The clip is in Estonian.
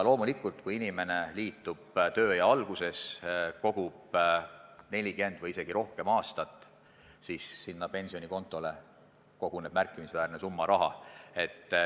Kui inimene liitub teise sambaga oma tööea alguses ja kogub 40 või isegi rohkem aastat, siis koguneb tema pensionikontole märkimisväärne summa raha.